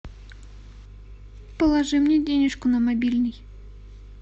положи мне денежку на мобильный